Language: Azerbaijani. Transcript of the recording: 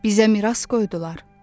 Bizə miras qoydular.